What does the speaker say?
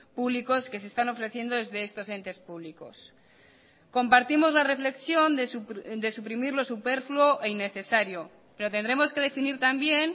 públicos que se están ofreciendo desde estos entes públicos compartimos la reflexión de suprimir lo superfluo e innecesario pero tendremos que definir también